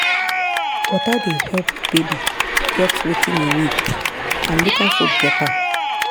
water dey help baby get wetin e need and local food get am.